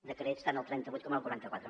decrets tant el trenta vuit com el quaranta quatre